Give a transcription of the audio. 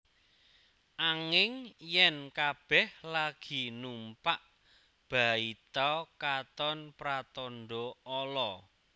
Anging yèn kabèh lagi numpak baita katon pratandha ala